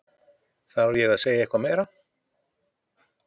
Þarf ég að segja eitthvað meira?